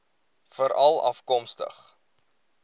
veralafkomstig